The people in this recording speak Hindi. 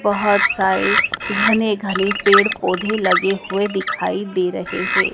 बहोत सारे घने घने पेड़ पौधे लगे हुए दिखाई दे रहे हैं।